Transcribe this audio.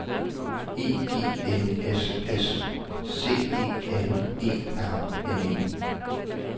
E G N S S C E N E R N E